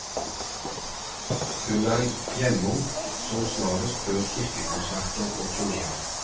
Hun er hjemom som snarest før kirkekonserter og turnéer.